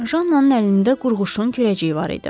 Jannanın əlində qurğuşun küləcəyi var idi.